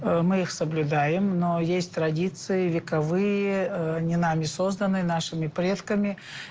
мы их соблюдаем но есть традиции вековые не нами созданные нашими предками